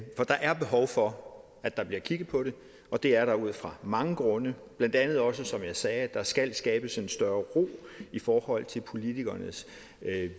der er behov for at der bliver kigget på det og det er der ud fra mange grunde blandt andet også som jeg sagde nemlig at der skal skabes en større ro i forhold til politikernes